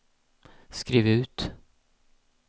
skriv ut